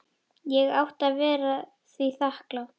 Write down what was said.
Ég átti að vera því þakklát.